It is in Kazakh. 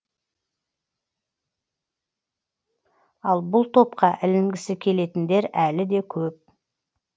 ал бұл топқа ілінгісі келетіндер әлі де көп